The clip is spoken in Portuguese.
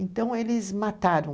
Então, eles mataram